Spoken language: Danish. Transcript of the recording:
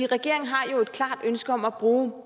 regeringen har et klart ønske om at bruge